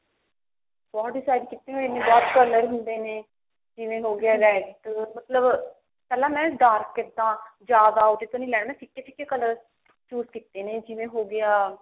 ਬਹੁਤ decide ਕੀਤਾ ਹੋਏ ਨੇ ਇੰਨੇ color ਹੁੰਦੇ ਨੇ ਜਿਵੇਂ ਹੋਗਿਆ red ਪਹਿਲਾਂ ਮੈਂ dark ਕੀਤਾ ਜਿਆਦਾ ਉਹਦੇ ਤੇ ਨੀ ਲੈਣੇ ਜਿਆਦਾ ਫਿੱਕੇ ਫਿੱਕੇ color choose ਕਿਤੇ ਨੇ ਜਿਵੇਂ ਹੋਗਿਆ